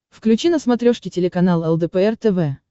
включи на смотрешке телеканал лдпр тв